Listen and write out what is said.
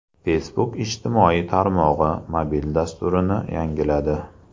Facebook ijtimoiy tarmog‘i mobil dasturini yangiladi.